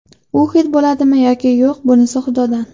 U xit bo‘ladimi yoki yo‘q bunisi Xudodan.